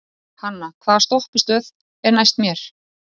Hanna, hvaða stoppistöð er næst mér?